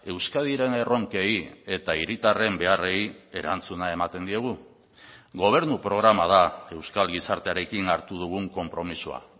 euskadiren erronkei eta hiritarren beharrei erantzuna ematen diegu gobernu programa da euskal gizartearekin hartu dugun konpromisoa